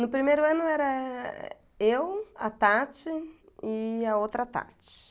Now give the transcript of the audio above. No primeiro ano era eu, a Tati e a outra Tati.